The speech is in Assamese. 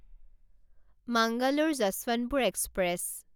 মাঙালৰে যশৱন্তপুৰ এক্সপ্ৰেছ